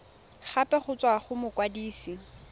gape go tswa go mokwadise